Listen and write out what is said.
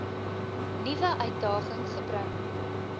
nuwe uitdaging gebring